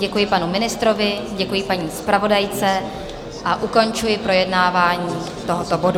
Děkuji panu ministrovi, děkuji paní zpravodajce a ukončuji projednávání tohoto bodu.